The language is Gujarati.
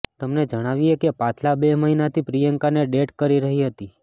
તમને જણાવીએ કે પાછલા બે મહીનાથી પ્રિયંકાને ડેટ કરી રહી હતી